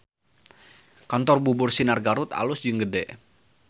Kantor Bubur Sinar Garut alus jeung gede